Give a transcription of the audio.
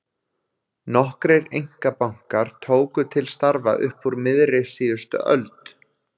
Nokkrir einkabankar tóku til starfa upp úr miðri síðustu öld.